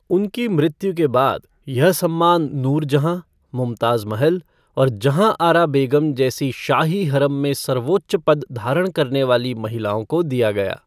उनकी मृत्यु के बाद, यह सम्मान नूरजहाँ, मुमताज महल और जहाँआरा बेगम जैसी शाही हरम में सर्वोच्च पद धारण करने वाली महिलाओं को दिया गया।